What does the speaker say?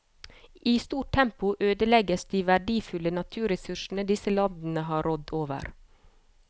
I stort tempo ødelegges de verdifulle naturressursene disse landene har rådd over.